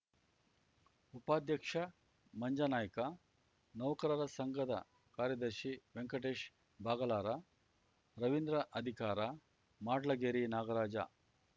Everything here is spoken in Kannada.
ಉಪಾಧ್ಯಕ್ಷ ಮಂಜನಾಯ್ಕ ನೌಕರರ ಸಂಘದ ಕಾರ್ಯದರ್ಶಿ ವೆಂಕಟೇಶ್ ಬಾಗಲರ ರವೀಂದ್ರ ಅಧಿಕಾರ ಮಾಡ್ಲಗೇರಿ ನಾಗರಾಜ